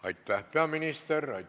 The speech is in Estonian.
Aitäh, peaminister!